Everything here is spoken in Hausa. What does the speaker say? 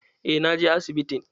Eh, na je asibitin.